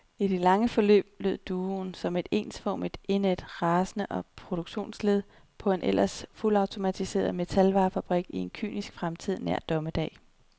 I lange forløb lød duoen som et ensformigt, indædt rasende produktionsled på en ellers fuldautomatiseret metalvarefabrik i en kynisk fremtid nær dommedag.